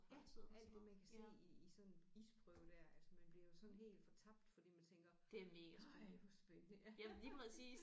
Ja alt det man kan se i i sådan en isprøve der altså man bliver jo sådan helt fortabt fordi man tænker ej hvor spændende ja